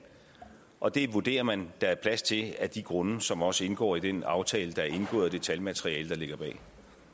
og det vurderer man der er plads til af de grunde som også indgår i den aftale der er indgået og det talmateriale der ligger bag